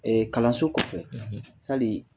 kalanso kɔfɛ fɛn min